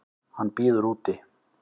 Hann bíður úti.